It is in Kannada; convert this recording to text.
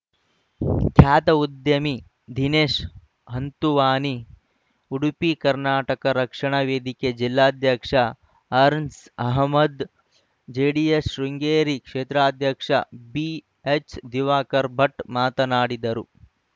ಖ್ಯಾತ ಉದ್ಯಮಿ ದಿನೇಶ್‌ ಹಂತುವಾನಿ ಉಡುಪಿ ಕರ್ನಾಟಕ ರಕ್ಷಣಾ ವೇದಿಕೆ ಜಿಲ್ಲಾಧ್ಯಕ್ಷ ಅರ್ನ್ಸ್ ಅಹಮ್ಮದ್‌ ಜೆಡಿಎಸ್‌ ಶೃಂಗೇರಿ ಕ್ಷೇತ್ರಾಧ್ಯಕ್ಷ ಬಿಎಚ್‌ದಿವಾಕರ್‌ ಭಟ್‌ ಮಾತನಾಡಿದರು